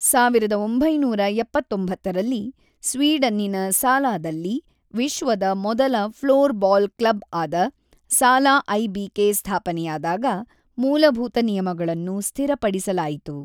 ಸಾವಿರದ ಒಂಬೈನೂರ ಎಪ್ಪತ್ತೊಂಬತ್ತರಲ್ಲಿ ಸ್ವೀಡನ್ನಿನ ಸಾಲಾದಲ್ಲಿ ವಿಶ್ವದ ಮೊದಲ ಫ್ಲೋರ್‌ಬಾಲ್ ಕ್ಲಬ್ಆದ ಸಾಲಾ ಐ.ಬಿ.ಕೆ. ಸ್ಥಾಪನೆಯಾದಾಗ ಮೂಲಭೂತ ನಿಯಮಗಳನ್ನು ಸ್ಥಿರಪಡಿಸಲಾಯಿತು.